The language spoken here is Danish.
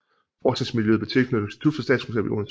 Forskningsmiljøet blev tilknyttet Institut for Statskundskab i Odense